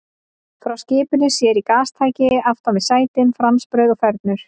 Frá skipinu sér í gastæki aftan við sætin, franskbrauð og fernur.